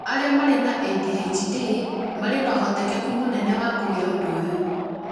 arĩa marĩ na ADHD marĩ na ũhotekeku mũnene wa kũgĩa ũndũ ũyũ